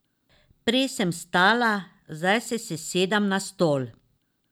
Prej sem stala, zdaj se sesedem na stol.